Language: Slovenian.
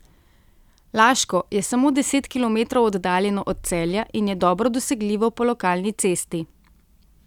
Laško je samo deset kilometrov oddaljeno od Celja in je dobro dosegljivo po lokalni cesti.